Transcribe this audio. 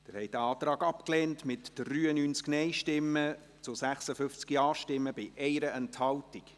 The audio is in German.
Sie haben diesen Antrag abgelehnt, mit 93 Nein- gegen 56 Ja-Stimmen bei 1 Enthaltung.